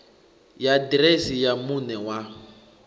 ya ḓiresi ya muṋe wa